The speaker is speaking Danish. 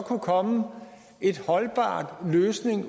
kunne komme en holdbar løsning